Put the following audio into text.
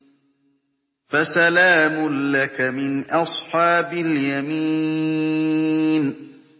فَسَلَامٌ لَّكَ مِنْ أَصْحَابِ الْيَمِينِ